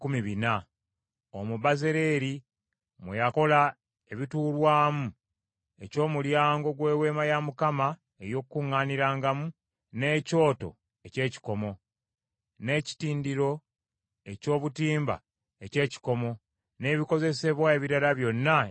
Omwo Bezaaleeri mwe yakola ekituurwamu eky’omulyango gw’Eweema ey’Okukuŋŋaanirangamu, n’ekyoto eky’ekikomo, n’ekitindiro eky’obutimba eky’ekikomo, n’ebikozesebwa ebirala byonna eby’ekyoto,